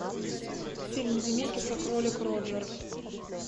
фильм земекиса кролик роджер